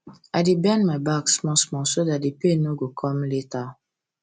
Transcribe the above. i dey bend my back small-small so that pain no go come later